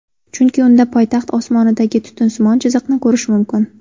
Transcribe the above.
Chunki unda poytaxt osmonidagi tutunsimon chiziqni ko‘rish mumkin.